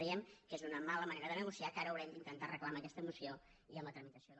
creiem que és una mala manera de negociar que ara haurem d’intentar arreglar amb aquesta moció i amb la tramitació del